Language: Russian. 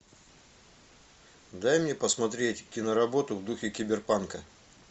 дай мне посмотреть киноработу в духе киберпанка